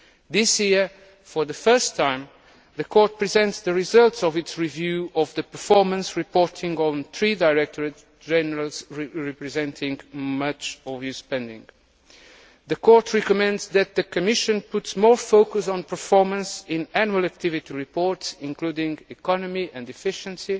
This year, for the first time, the Court presents the results of its review of the performance reporting on three Directorates General responsible for much EU spending. The Court recommends that the Commission puts more focus on performance in Annual Activity Reports, including on economy and efficiency,